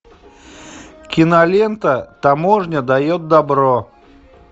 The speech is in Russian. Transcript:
кинолента таможня дает добро